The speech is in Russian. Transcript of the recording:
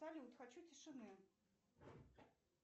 салют хочу тишины